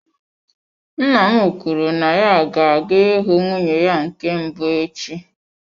Nna m kwuru na ya ga-aga ịhụ nwunye ya nke mbụ echi.